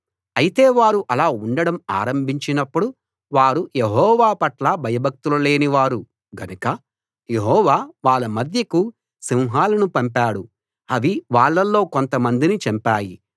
అయితే వారు అలా ఉండడం ఆరంభించినప్పుడు వారు యెహోవా పట్ల భయభక్తులు లేని వారు గనుక యెహోవా వాళ్ళ మధ్యకు సింహాలను పంపాడు అవి వాళ్ళల్లో కొంతమందిని చంపాయి